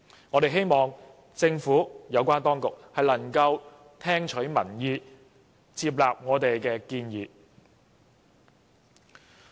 我們希望政府有關當局能夠聽取民意，接納我們的建議。